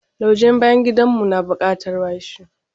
Lauje ɗin bayan gidan mu na bukatar washi.